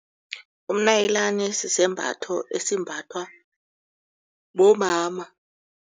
Umnayilani sisembatho esimbathwa bomama.